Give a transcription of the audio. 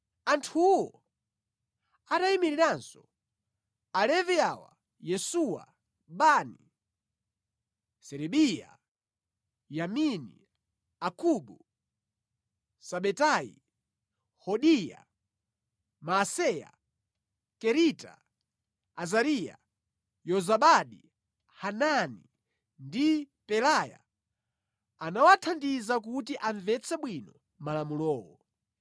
Anthuwo atayimiriranso Alevi awa: Yesuwa, Bani, Serebiya, Yamini, Akubu, Sabetayi, Hodiya, Maaseya, Kerita, Azariya, Yozabadi, Hanani ndi Pelaya anawathandiza kuti amvetse bwino malamulowo.